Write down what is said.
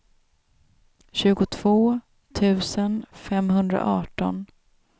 tjugotvå tusen femhundraarton